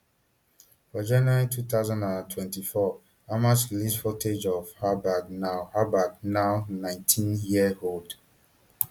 for january two thousand and twenty-four hamas release footage of albag now albag now nineteen years old